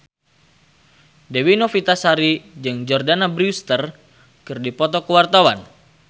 Dewi Novitasari jeung Jordana Brewster keur dipoto ku wartawan